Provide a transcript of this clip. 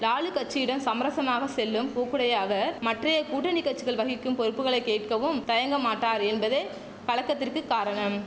லாலு கச்சியுடன் சமரசமாக செல்லும் போக்குடைய அவர் மற்றைய கூட்டணி கட்சிகள் வகிக்கும் பொறுப்புகளை கேட்கவும் தயங்கமாட்டார் என்பதே கலக்கத்திற்கு காரணம்